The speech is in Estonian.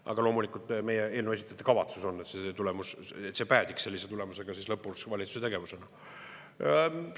Aga loomulikult, meie eelnõu esitajate kavatsus on see, et see päädiks siis lõpus valitsuse tegevusena.